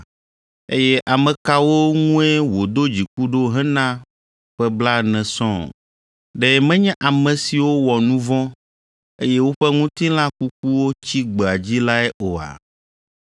Eye ame kawo ŋue wòdo dziku ɖo hena ƒe blaene sɔŋ? Ɖe menye ame siwo wɔ nu vɔ̃, eye woƒe ŋutilã kukuwo tsi gbea dzi lae oa?